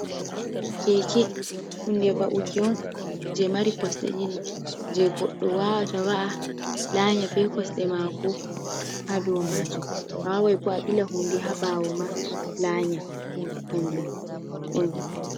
Keke hunde va’ukion je mari kosɗe ɗiɗi, je goɗɗo wawata va’a lanya be kosɗe mako ha dou majum, awawai fu a ɓila hunde ha ɓawo ma lanya kanjum on.